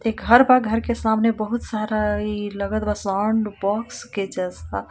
एक घर बा घर के सामने बहुत सारा इ लगत बा साउंड बॉक्स के जैसा.